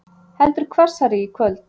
Heldur hvassari í kvöld